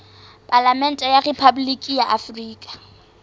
palamente ya rephaboliki ya afrika